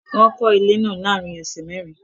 Wọ́n kọ́ ilé náà láàárín ọ̀sẹ̀ mẹ́rin